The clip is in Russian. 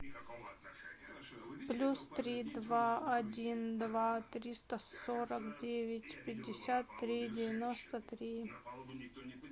плюс три два один два триста сорок девять пятьдесят три девяносто три